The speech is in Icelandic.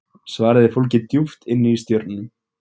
svarið er fólgið djúpt inni í stjörnunum